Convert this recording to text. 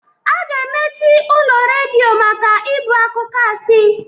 A ga-emechi ụlọ redio maka ibu akụkọ asị.